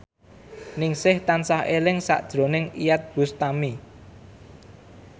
Ningsih tansah eling sakjroning Iyeth Bustami